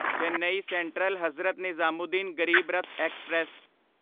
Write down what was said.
Chennai central Hazrat Nizamuddin Garib Rath express